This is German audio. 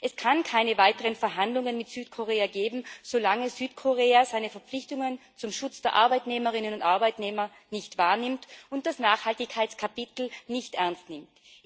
Es kann keine weiteren Verhandlungen mit Südkorea geben, solange Südkorea seine Verpflichtungen zum Schutz der Arbeitnehmerinnen und Arbeitnehmer nicht wahrnimmt und das Nachhaltigkeitskapitel nicht ernst nimmt.